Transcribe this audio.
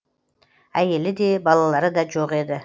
әйелі де балалары да жоқ еді